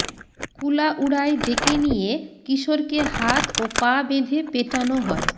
কুলাউড়ায় ডেকে নিয়ে কিশোরকে হাত ও পা বেঁধে পেটানো হয়